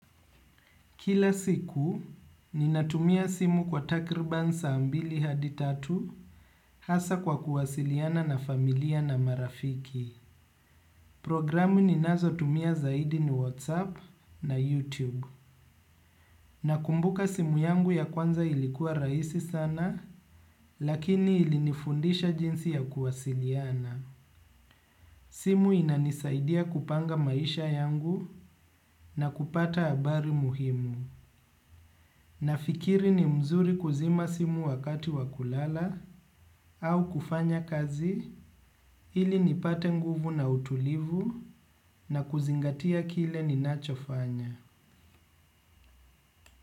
Kila siku, ninatumia simu kwa takirban saa mbili hadi tatu, hasa kwa kuwasiliana na familia na marafiki. Programu ninazo tumia zaidi ni WhatsApp na YouTube. Nakumbuka simu yangu ya kwanza ilikuwa rahisi sana, lakini ilinifundisha jinsi ya kuwasiliana. Simu inanisaidia kupanga maisha yangu na kupata habari muhimu. Nafikiri ni mzuri kuzima simu wakati wakulala au kufanya kazi ili nipate nguvu na utulivu na kuzingatia kile ninachofanya.